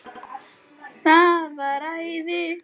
Það var æði.